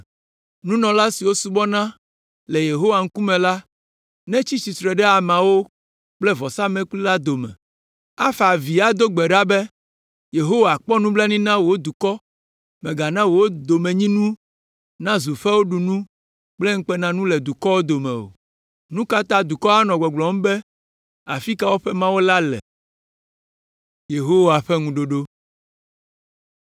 Nunɔla siwo subɔna le Yehowa ŋkume la netsi tsitre ɖe ameawo kple vɔsamlekpui la dome, afa avi ado gbe ɖa be, “Yehowa, kpɔ nublanui na wò dukɔ; mègana wò domenyinu nazu fewuɖunu kple ŋukpenanu le dukɔwo dome o. Nu ka ta dukɔwo anɔ gbɔgblɔm be, ‘Afi ka woƒe Mawu la le?’ ”